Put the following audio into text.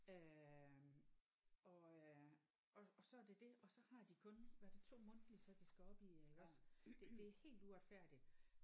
Øh og øh og og så er det det og så har de kun hvad er det 2 mundtlige så de skal op i iggås det det det er helt uretfærdigt